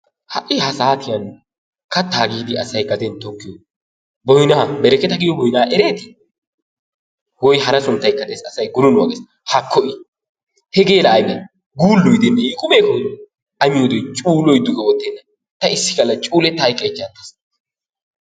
Ha'i ha saatiyaan kattaa giidi asay gaden tikkiyoo boynnaa bereketa giyoo boynnaa erettii? woy hara sunttaykka asay gununuwaa gees. haakko i hegee la aybee! guulloy de"ii hegeela i qumee? a miyoode coo iittes ta issi galla cuulletta hayqqaychcha attaas.